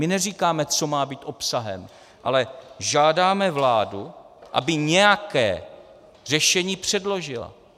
My neříkáme, co má být obsahem, ale žádáme vládu, aby nějaké řešení předložila.